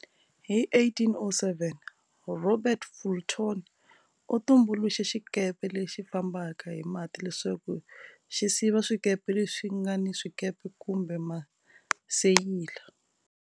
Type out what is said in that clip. Hi 1807, Robert Fulton u tumbuluxe xikepe lexi fambaka hi mati leswaku xi siva swikepe leswi nga ni swikepe kumbe maseyila.